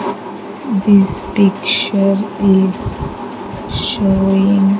This picture is showing --